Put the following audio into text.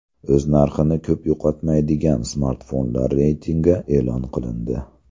O‘z narxini ko‘p yo‘qotmaydigan smartfonlar reytingi e’lon qilindi.